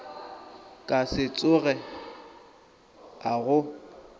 ka se tsoge a go